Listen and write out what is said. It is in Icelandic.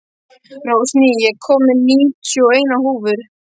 Rósný, ég kom með níutíu og eina húfur!